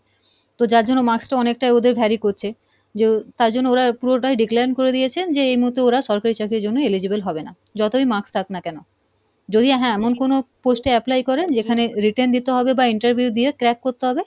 তো যার জন্য marks টা অনেকটাই ওদের করছে, যো তাই জন্য ওরা পুরোটাই decline করে দিয়েছে যে এই মুহুর্তে ওরা সরকারি চাকরির জন্য eligible হবে না যতই marks থাক না কেনো, যদি হ্যাঁ এমন কোনো post এ apply করে যেখানে written দিতে হবে বা interview দিয়ে crack করতে হবে,